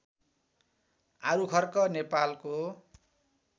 आरुखर्क नेपालको